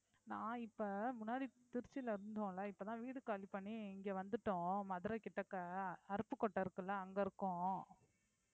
நான் இப்ப முன்னாடி திருச்சியில இருந்தோம்ல இப்பதான் வீடு காலி பண்ணி இங்க வந்துட்டோம் மதுரை கிட்டக்க அருப்புக்கோட்டை இருக்குல்ல அங்க இருக்கோம்